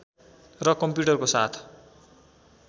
र कम्प्युटरको साथ